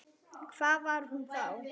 Hvað var hún þá?